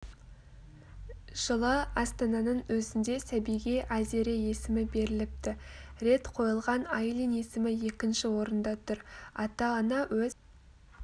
жылы астананың өзінде сәбиге айзере есімі беріліпті рет қойылған айлин есімі екінші орында тұр ата-ана өз